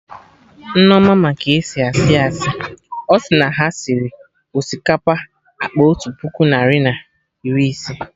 Nneoma ma ka esi asị asị, ọsị na ha sịrị osikapa akpa otu puku narị na iri ise